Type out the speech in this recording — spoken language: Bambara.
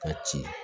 Ka ci